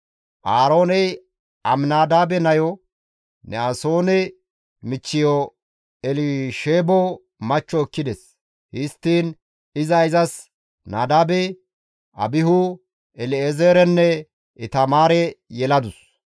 Aarooney Aminadaabe nayo, Ne7asoone michcheyo Elisheebo machcho ekkides. Histtiin iza izas Nadaabe, Abihu, El7ezeerenne Itamaare yeladus.